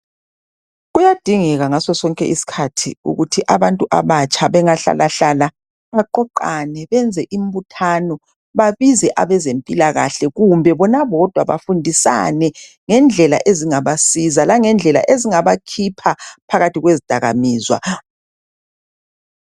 Kuyadingeka ngaso sonke isikhathi ukuthi abantu abatsha bengahlalahlala baqoqane benze imbuthano babize abezempilakahle kumbe bona bodwa bafundisane ngendlela ezingabasiza langendlela ezingabakhipha phakathi kwezidakamizwa.